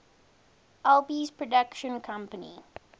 alby's production company